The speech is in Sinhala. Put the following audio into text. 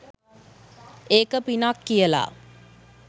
ඒක පිනක් කියලා.